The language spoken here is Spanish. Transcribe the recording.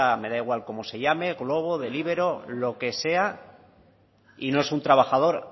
me da igual como se llame glovo deliveroo lo que sea y no es un trabajador